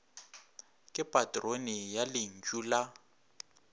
ke patrone ya lentšu la